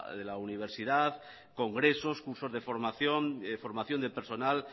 de la universidad congresos cursos de formación formación de personal